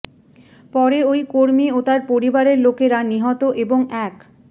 পরে ওই কর্মী ও তাঁর পরিবারের লোকেরা নিহত এবং এক